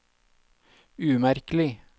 umerkelig